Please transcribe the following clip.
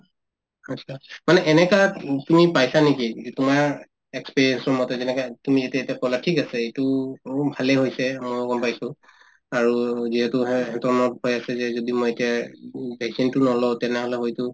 achcha মানে এনেকাত um তুমি পাইছা নেকি যে তোমাৰ experience ৰ মতে যেনেকে তুমি এতে এতে কলা ঠিক আছে এইটো ভালে হৈছে ময়ো গম পাইছো আৰু যিহেতু কৈ আছে যে যদি মই এতিয়া উম vaccine তো নলওঁ তেনেহলে হয়তো